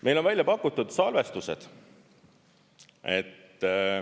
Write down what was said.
Meil on välja pakutud salvestused.